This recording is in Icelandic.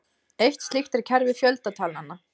Eitt slíkt er kerfi fjöldatalnanna.